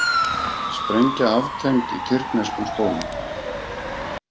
Sprengja aftengd í tyrkneskum skóla